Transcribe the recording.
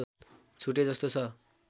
छुटेजस्तो छ